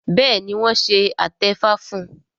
béèni wón ṣe atefa fún